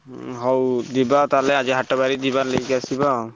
ହୁଁ ହଉ ଯିବା ତାହେଲେ ଆଜି ହାଟ ବାରି ଯିବା ନେଇକି ଆସିବା ଆଉ।